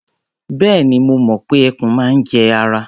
Bẹ́ẹ̀ni, mo mọ̀ pé ẹkùn máa ń jẹ ara.